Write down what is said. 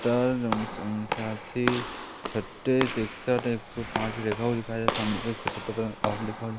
छत्तीस एकसठ एक सौ पांच लिखा हुआ सामने की ओर --